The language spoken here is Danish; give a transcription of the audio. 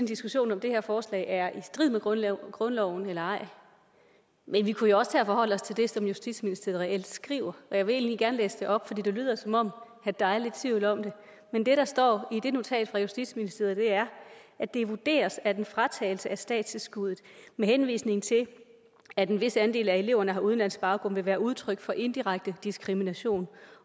diskussion om det her forslag er i strid med grundloven grundloven eller ej men vi kunne jo også tage og forholde os til det som justitsministeriet reelt skriver jeg vil egentlig gerne læse det op for det lyder som om der er lidt tvivl om det men det der står i det notat fra justitsministeriet er det vurderes at en fratagelse af statstilskuddet med henvisning til at en vis andel af eleverne har udenlandsk baggrund vil være udtryk for indirekte diskrimination